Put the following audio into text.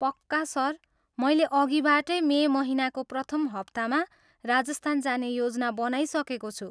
पक्का, सर। मैले अघिबाटै मे महिनाको प्रथम हप्तामा राजस्थान जाने योजना बनाइसकेको छु।